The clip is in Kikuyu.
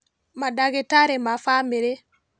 Mandagĩtarĩ ma bamĩrĩ